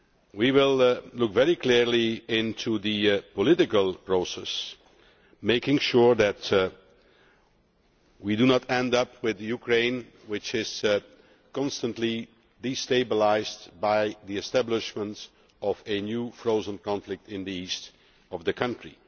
We will look very clearly into the political process, making sure that we do not end up with a Ukraine which is constantly destabilised by the establishment of a new frozen conflict in the east of the country.